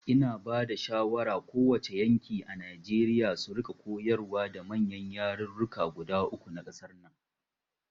Ina bada shawara ko wace yanki a Nijeriya su rika koyarwa da manyan yarurruka guda uku na ƙasar nan